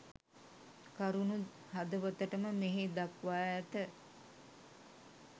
කරුණු හදවතටම මෙහි දක්වා ඇත.